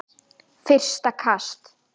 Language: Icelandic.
Fyrsta kast